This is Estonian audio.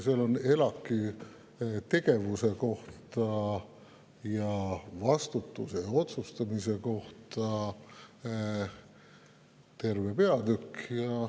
Seal on ELAK‑i tegevuse, vastutuse ja otsustamise kohta terve peatükk.